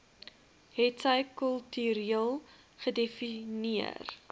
hetsy kultureel gedefinieer